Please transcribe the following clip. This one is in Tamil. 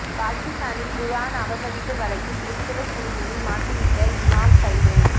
பாகிஸ்தானில் குர்ஆன் அவமதிப்பு வழக்கில் கிறிஸ்தவ சிறுமியை மாட்டிவிட்ட இமாம் கைது